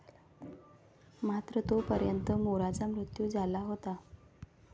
मात्र तोपर्यंत मोराचा मृत्यू झाला होता.